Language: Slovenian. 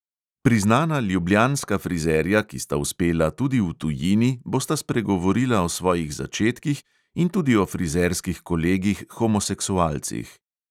Priznana ljubljanska frizerja, ki sta uspela tudi v tujini, bosta spregovorila o svojih začetkih in tudi o frizerskih kolegih homoseksualcih.